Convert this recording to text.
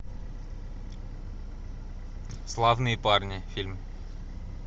славные парни фильм